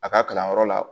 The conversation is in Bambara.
A ka kalanyɔrɔ la